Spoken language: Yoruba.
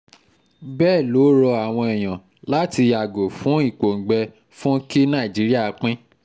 bẹ́ẹ̀ ló rọ àwọn èèyàn láti yàgò fún ìpọ́ngbè fún kí nàìjíríà pín